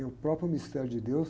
e o próprio mistério de Deus.